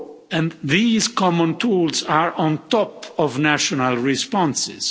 And these common tools are on top of national responses.